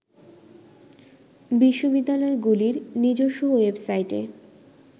বিশ্ববিদ্যালয়গুলির নিজস্ব ওয়েবসাইটে